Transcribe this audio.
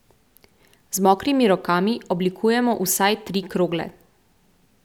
Z mokrimi rokami oblikujemo vsaj tri krogle.